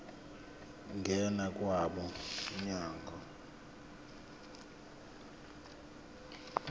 ngena kwabo mnyango